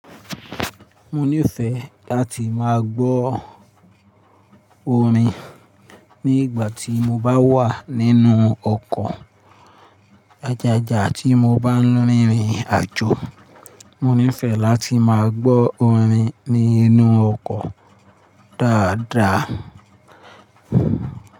Mo nífẹ̀ẹ́ láti máa gbọ́ orin ní ìgbà tí mo bá wà nínú ọkọ̀ ajajà tí mo bá ń rìn ìrìn àjò. Mo nífẹ̀ẹ́ láti máa gbọ́ orin nínú ọkọ̀ dáadáa.